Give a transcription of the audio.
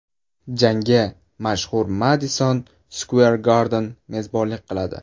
Jangga mashhur Madison Square Garden mezbonlik qiladi.